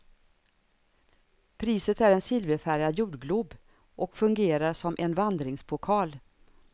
Priset är en silverfärgad jordglob och fungerar som en vandringspokal.